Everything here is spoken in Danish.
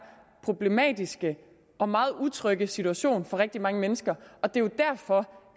problematiske og meget utrygge situation for rigtig mange mennesker og det er jo derfor